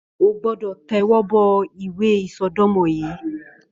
Ó gbọdọ tẹwọbọ ìwé isọdọmọ yi